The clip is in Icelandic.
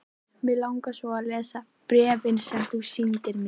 Mig langar svo að lesa bréfin sem þú sýndir mér.